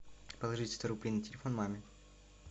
положить сто рублей на телефон маме